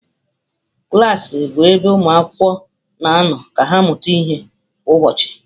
Klas bụ ebe ụmụ akwụkwọ na-anọ ka ha mụta ihe kwa ụbọchị.